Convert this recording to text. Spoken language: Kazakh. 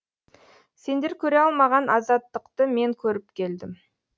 сендер көре алмаған азаттықты мен көріп келдім